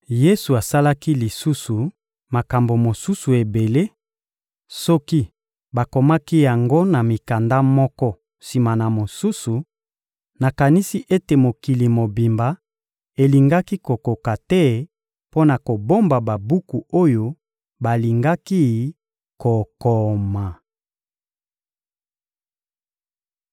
Yesu asalaki lisusu makambo mosusu ebele; soki bakomaki yango na mikanda moko sima na mosusu, nakanisi ete mokili mobimba elingaki kokoka te mpo na kobomba babuku oyo balingaki kokoma.